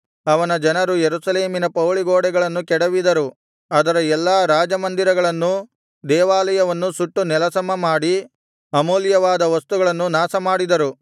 ಅವನ ಜನರು ಯೆರೂಸಲೇಮಿನ ಪೌಳಿಗೋಡೆಗಳನ್ನು ಕೆಡವಿದರು ಅದರ ಎಲ್ಲಾ ರಾಜಮಂದಿರಗಳನ್ನೂ ದೇವಾಲಯವನ್ನೂ ಸುಟ್ಟು ನೆಲಸಮ ಮಾಡಿ ಅಮೂಲ್ಯವಾದ ವಸ್ತುಗಳನ್ನು ನಾಶಮಾಡಿದರು